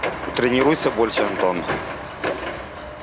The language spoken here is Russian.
тренируйся больше антон